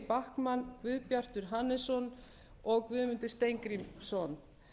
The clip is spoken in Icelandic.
þuríður backman guðbjartur hannesson og guðmundur steingrímsson